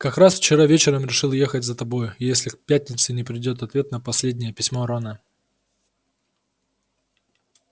как раз вчера вечером решил ехать за тобой если к пятнице не придёт ответ на последнее письмо рона